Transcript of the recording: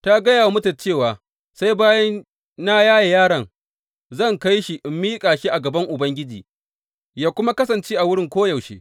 Ta gaya wa mijinta cewa, Sai bayan na yaye yaron, zan kai shi in miƙa shi a gaban Ubangiji, yă kuma kasance a wurin koyaushe.